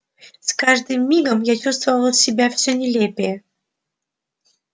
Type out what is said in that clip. с каждым мигом я чувствовал себя всё нелепее